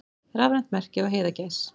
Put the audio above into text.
Rafrænt merki á heiðagæs.